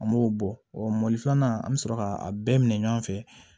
An m'o bɔ ɔ mooli filanan an be sɔrɔ ka a bɛɛ minɛ ɲɔgɔn fɛ